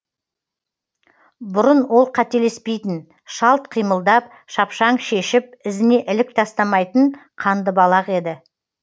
бұрын ол қателеспейтін шалт қимылдап шапшаң шешіп ізіне ілік тастамайтын қандыбалақ еді